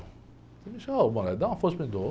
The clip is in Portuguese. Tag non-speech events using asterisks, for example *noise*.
Você me chama, ô, *unintelligible* dá uma força para mim, dou.